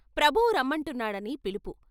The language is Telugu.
ప్రభువు రమ్మంటున్నాడని పిలుపు.